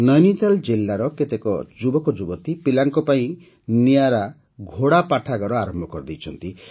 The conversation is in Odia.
ନୈନିତାଲ ଜିଲ୍ଲାର କେତେକ ଯୁବକ ଯୁବତୀ ପିଲାଙ୍କ ପାଇଁ ନିଆରା ଘୋଡ଼ା ପାଠାଗାର ଆରମ୍ଭ କରିଛନ୍ତି